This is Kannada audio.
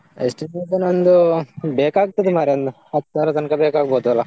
Estimation ಒಂದು ಬೇಕಾಗ್ತದೆ ಮಾರ್ರೆ ಒಂದು ಹತ್ಸಾರ ತನ್ಕ ಬೇಕಾಗ್ಬೋದಲ್ಲಾ?